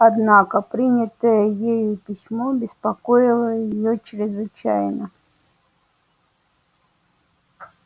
однако принятое ею письмо беспокоило её чрезвычайно